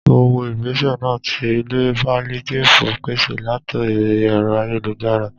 Mo wo igbese náà tí ilé paliatifu pèsè latori ẹ̀rọ ayélujára